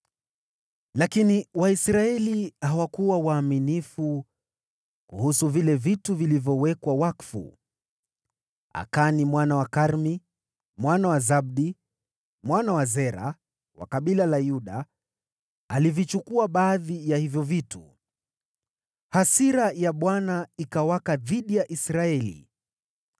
Lakini Waisraeli hawakuwa waaminifu kuhusu vile vitu vilivyowekwa wakfu; Akani mwana wa Karmi, mwana wa Zabdi, mwana wa Zera, wa kabila la Yuda, alivichukua baadhi ya hivyo vitu. Hasira ya Bwana ikawaka dhidi ya Israeli.